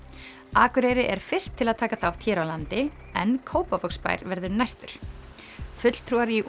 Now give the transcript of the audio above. Akureyri er fyrst til að taka þátt hér á landi en Kópavogsbær verður næstur fulltrúar í